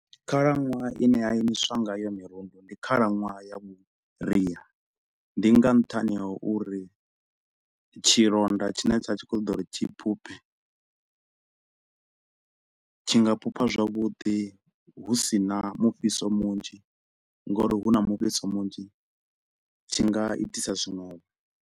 Khalaṅwaha ine ya imiswa nga yo mirundu ndi khalaṅwaha ya vhuria ndi nga nṱhani ha uri tshilonda tshine tsha tshi kho u ṱoḓa uri tshi phuphe tshi nga phupha zwavhuḓi hu si na mufhiso munzhi ngauri hu na mufhiso munzhi tshi nga itisa zwinwevho.